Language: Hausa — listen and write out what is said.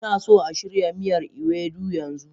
Ina so a shirya miyar ewedu yanzu